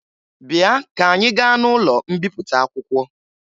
Bịa ka anyị gaa n'ụlọ mbipụta akwụkwọ